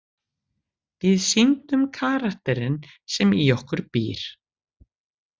Við sýndum karakterinn sem í okkur býr.